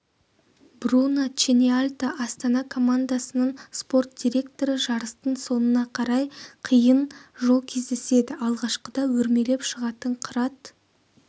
бруно ченьялта астана командасының спорт директоры жарыстың соңына қарай қиын жол кездеседі алғашқыда өрмелеп шығатын қырат